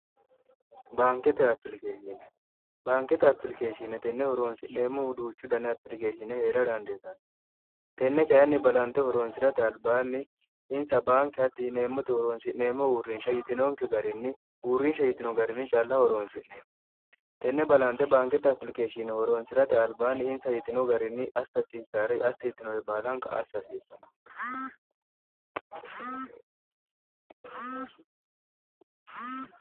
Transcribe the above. baankete apilikeeshine baankete apilikeeshinne tenne horoonsi'neemmo huduuchu dane apilikeeshine hee'ra dandeetanni tenne kayinni balanxe horoonsi'rate albaanni insa baanke hatti hineemmote horoonsi'neemmo uurrinsha yitinonke garinni uurrinsha yitino garinni calla horoonsi'neemmo tenne balanxe baankete apilikeeshine horoonsi'rate albaanni insa yitino garinni assahasiissaare assa yittinore baalanqa assa hasiissanno